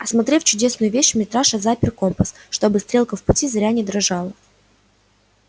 осмотрев чудесную вещь митраша запер компас чтобы стрелка в пути зря не дрожала